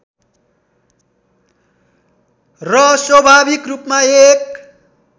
र स्वाभाविक रूपमा एक